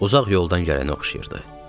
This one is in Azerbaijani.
Uzaq yoldan gələnə oxşayırdı.